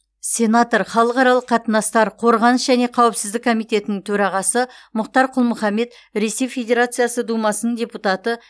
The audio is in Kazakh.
сенатор халықаралық қатынастар қорғаныс және қауіпсіздік комитетінің төрағасы мұхтар құл мұхаммед ресей федерациясы думасының депутаты